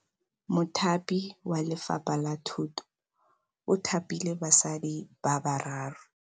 Mothapi wa Lefapha la Thutô o thapile basadi ba ba raro.